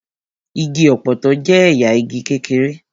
Igi ọ̀pọ̀tọ́ jẹ́ ẹ̀yà igi kékeré.